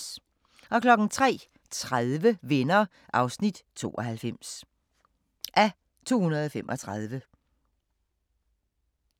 03:30: Venner (92:235)